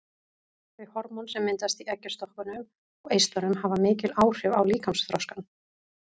Þau hormón sem myndast í eggjastokkunum og eistunum hafa mikil áhrif á líkamsþroskann.